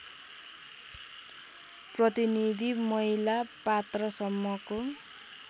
प्रतिनीधि महिला पात्रसम्मको